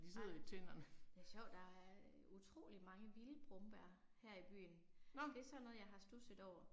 Nej. Det er sjovt, der er utrolig mange vilde brombær her i byen. Det er sådan noget jeg har studset over